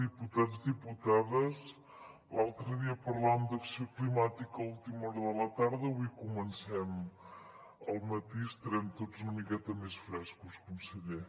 diputats diputades l’altre dia parlàvem d’acció climàtica a última hora de la tarda avui comencem al matí estarem tots una miqueta més frescos conseller